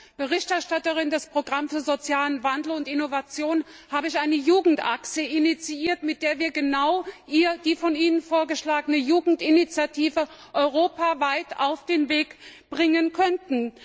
Als Berichterstatterin des Programms für sozialen Wandel und Innovation habe ich eine Jugendachse initiiert, mit der wir genau die von Ihnen vorgeschlagene Jugendinitiative europaweit auf den Weg bringen könnten.